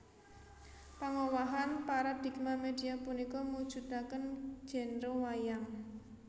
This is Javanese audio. Pangowahan paradigma media punika mujudaken genre wayang